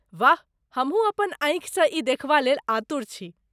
वाह! हमहुँ अपन आँखिसँ ई देखबा लेल आतुर छी।